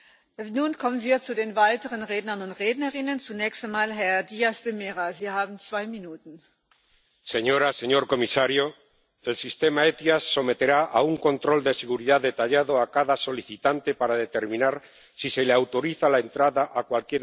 Señora presidenta, señor comisario, el sistema SEIAV someterá a un control de seguridad detallado a cada solicitante para determinar si se le autoriza la entrada a cualquier país del espacio Schengen.